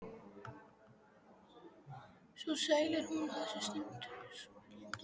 Svo sæl er hún á þessum stundum.